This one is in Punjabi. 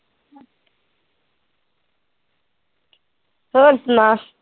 ਹੋਰ ਸੁਣਾ